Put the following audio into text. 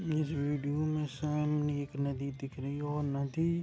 इस वीडियो में सामने एक नदी दिख रही है और नदी.--